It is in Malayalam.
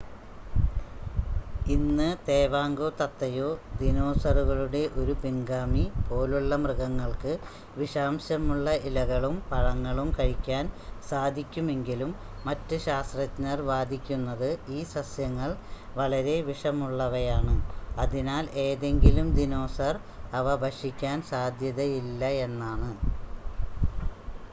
ഇന്ന് തേവാങ്കോ തത്തയോ ദിനോസറുകളുടെ ഒരു പിൻഗാമി പോലുള്ള മൃഗങ്ങൾക്ക് വിഷാംശമുള്ള ഇലകളും പഴങ്ങളും കഴിക്കാൻ സാധിക്കുമെങ്കിലും മറ്റ് ശാസ്ത്രജ്ഞർ വാദിക്കുന്നത് ഈ സസ്യങ്ങൾ വളരെ വിഷമുള്ളവയാണ് അതിനാൽ ഏതെങ്കിലും ദിനോസർ അവ ഭക്ഷിക്കാൻ സാധ്യതയില്ലയെന്നാണ്